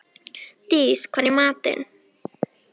Dís, hvað er í matinn?